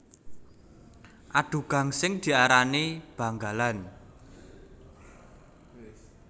Adu gangsing diarani banggalan